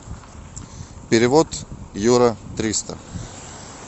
перевод юра триста